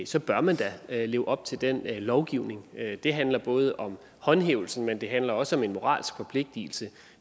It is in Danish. så bør man da leve op til den lovgivning det handler både om håndhævelse men det handler også om en moralsk forpligtelse